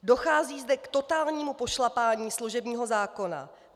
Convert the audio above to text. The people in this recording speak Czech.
Dochází zde k totálnímu pošlapání služebního zákona.